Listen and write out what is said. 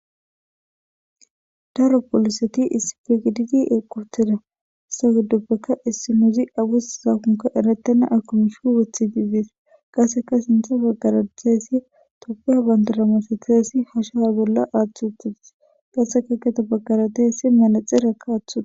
Daro polisseti issippe gididi eqqi uththidi dizza hegeththappe issinozzi erettenna mishsha ayikko woththidi de'es qassekka sinthe bagara dizaysi tophphiya banidire masathizayissa hashiya bollan aththi uththides qassekka gedde bagara dizaysi merexinne woththides.